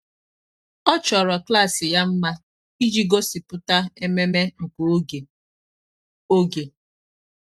ọ́ chọ́rọ́ klas ya mma iji gósípụ́ta ememe nke oge. oge.